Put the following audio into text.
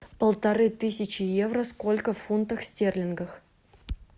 полторы тысячи евро сколько в фунтах стерлингах